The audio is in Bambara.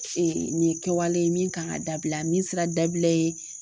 nin ye kɛwale ye min kan ka dabila min sera dabila ye.